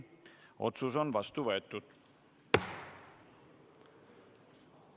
Otsus on vastu võetud.